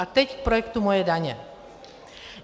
A teď k projektu Moje daně.